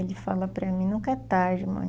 Ele fala para mim, nunca é tarde, mãe.